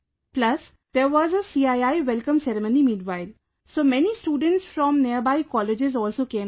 Plus there was a CII Welcome Ceremony meanwhile, so many students from nearby colleges also came there